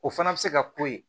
O fana bɛ se ka k'o ye